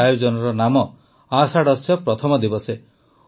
ଏହି ଆୟୋଜନର ନାମ ଆଷାଢସ୍ୟ ପ୍ରଥମ ଦିବସେ